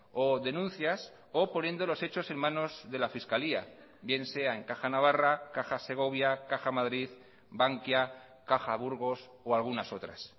o denuncias o poniendo los hechos en manos de la fiscalía bien sea en caja navarra caja segovia caja madrid bankia caja burgos o algunas otras